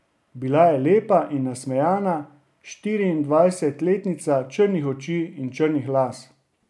Bila je lepa in nasmejana štiriindvajsetletnica črnih oči in črnih las.